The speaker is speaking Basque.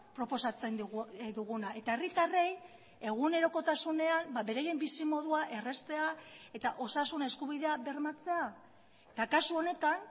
proposatzen duguna eta herritarrei egunerokotasunean beraien bizimodua erraztea eta osasun eskubidea bermatzea eta kasu honetan